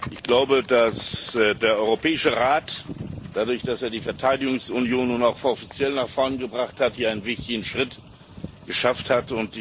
Ich glaube, dass der Europäische Rat dadurch, dass er die Verteidigungsunion nun auch offiziell nach vorne gebracht hat, hier einen wichtigen Schritt geschafft hat.